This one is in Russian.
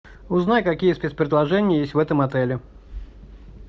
узнай какие спец предложения есть в этом отеле